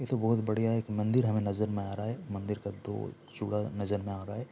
ये तो बहुत ही बढ़िया एक मंदिर हमे नजर में आ रहा है मंदिर का दो चूड़ा नजर में आ रहा है।